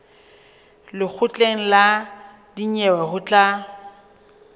lekgotleng la dinyewe ho tla